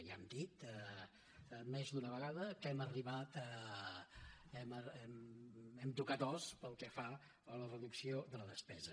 ja hem dit més d’una vegada que hem tocat os pel que fa a la reducció de la despesa